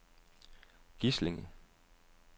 Gislinge